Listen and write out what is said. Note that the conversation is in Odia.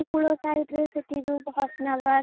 ନଈକୂଳ side ସେଠି ଯଉ